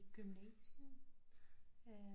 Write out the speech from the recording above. Gymnasiet